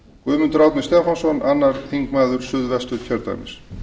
guðmundur árni stefánsson annar þingmaður suðvesturkjördæmis